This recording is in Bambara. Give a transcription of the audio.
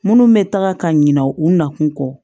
Minnu bɛ taga ka ɲina u na kun kɔ